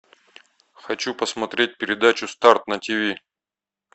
хочу посмотреть передачу старт на тиви